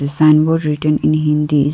sign board written in hindi.